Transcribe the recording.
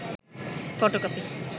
photocopy